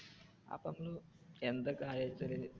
അപ്പൊ എന്തൊക്കെ ആയച്ചാലും.